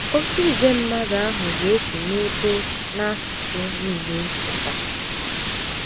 Oké ìgwè mmadụ ahụ ga - esi n’ebo na asụsụ nile pụta